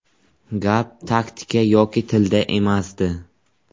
Gap taktika yoki tilda emasdi.